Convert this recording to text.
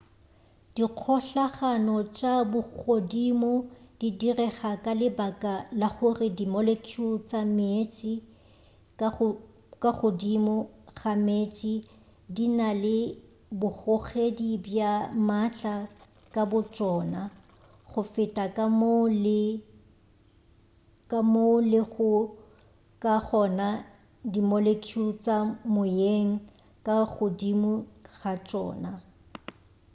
dikgohlano tša bogodimo di direga ka lebaka la gore di molecule tša meetse ka godimo ga meetse di na le bogogedi bja maatla ka botšona go feta ka moo di lego ka gona go di molecule tša moyeng ka godimo ga tšona